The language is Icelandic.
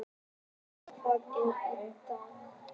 Natalie, hvað er á dagatalinu í dag?